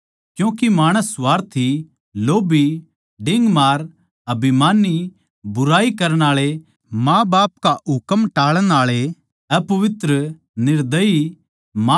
क्यूँके माणस स्वार्थी लोभ्भी डिंगमार अभिमानी बुराई करण आळे माँबाप का हुकम टाळण आळे अहसानफरमोस अपवित्र